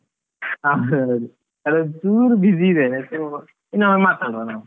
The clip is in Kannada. ಹಾ ಹೌದು, ನಾನ್ ಚುರ್ busy ಇದ್ದೇನೆ ಅದ್ಕೆ ಇನ್ನೊಮ್ಮೆ ಮಾತಾಡುವ ನಾವ್.